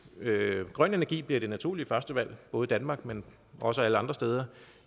grøn energi bliver det naturlige førstevalg både i danmark men også alle andre steder